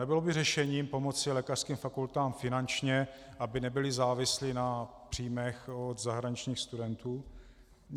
Nebylo by řešením pomoci lékařským fakultám finančně, aby nebyly závislé na příjmech od zahraničních studentů?